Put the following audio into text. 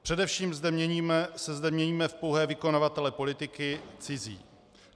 Především se zde měníme v pouhé vykonavatele politiky cizí.